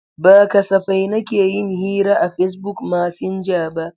Ba kasafai nake yin hira a Facebook masinja ba.